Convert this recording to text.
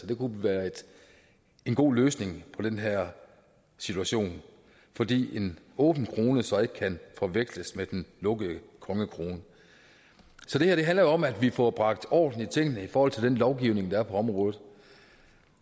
det kunne være en god løsning på den her situation fordi en åben krone så ikke kan forveksles med den lukkede kongekrone så det her handler om at vi får bragt orden i tingene i forhold til den lovgivning der er på området